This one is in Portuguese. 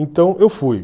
Então, eu fui.